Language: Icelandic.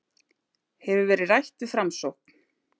Hefur verið rætt við Framsókn